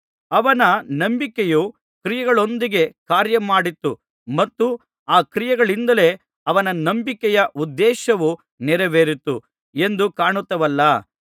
ಅವನ ನಂಬಿಕೆಯು ಕ್ರಿಯೆಗಳೊಂದಿಗೆ ಕಾರ್ಯಮಾಡಿತ್ತು ಮತ್ತು ಆ ಕ್ರಿಯೆಗಳಿಂದಲೇ ಅವನ ನಂಬಿಕೆಯ ಉದ್ದೇಶವು ನೆರವೇರಿತು ಎಂದು ಕಾಣುತ್ತೇವಲ್ಲಾ